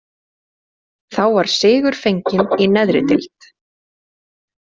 Þá var sigur fenginn í neðri deild.